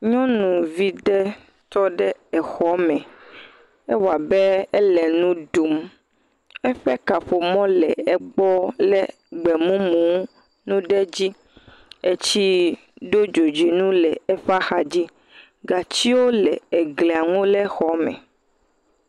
Nyɔnuvi ɖe tɔ ɖe exɔ me. Ewɔ abe ele nu ɖum. Eƒe kaƒomɔ le egbɔ le gbemumu nu ɖe dzi. Tsi ɖo dzodzoenu le eƒe axa dzi. Gatsiwo le eglianu le xɔ me.